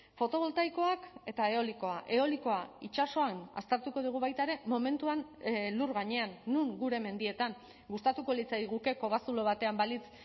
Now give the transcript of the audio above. fotoboltaikoak eta eolikoa eolikoa itsasoan aztertuko dugu baita ere momentuan lur gainean non gure mendietan gustatuko litzaiguke kobazulo batean balitz